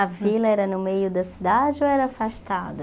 A vila era no meio da cidade ou era afastada?